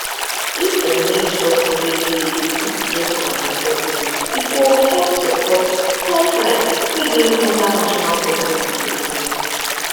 if dem make sure say people fit get contraceptive e go help support health rights wey dey under national policy true true